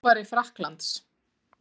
Þjálfari Frakklands?